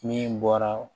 Min bɔra